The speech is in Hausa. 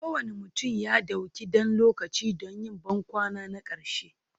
Kowane mutum ya ɗauki ɗan lokaci don yin bankwana na ƙarshe,